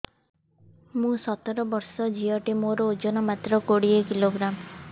ମୁଁ ସତର ବର୍ଷ ଝିଅ ଟେ ମୋର ଓଜନ ମାତ୍ର କୋଡ଼ିଏ କିଲୋଗ୍ରାମ